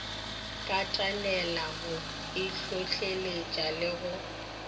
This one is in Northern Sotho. katanela go itlhotleletša le go